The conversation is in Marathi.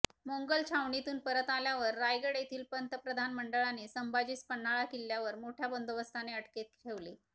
मोंगल छवणींतून परत आल्यावर रायगड येथील प्रधानमंडळानें संभाजीस पन्हाळा किंल्ल्यावर मोठ्या बंदोबस्तानें अटकेंत ठेविलें